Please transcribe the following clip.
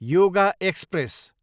yoga express